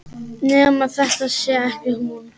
Nema þetta sé ekki hún.